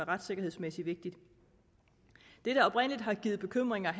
retssikkerhedsmæssigt det der oprindelig har givet bekymringer